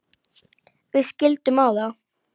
Við skildum á